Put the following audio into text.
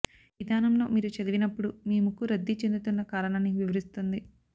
ఈ విధానంలో మీరు చదివినప్పుడు మీ ముక్కు రద్దీ చెందుతున్న కారణాన్ని వివరిస్తుంది